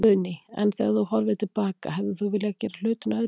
Guðný: En þegar þú horfir til baka, hefðir þú viljað gera hlutina öðruvísi?